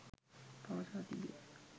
පවසා තිබේ.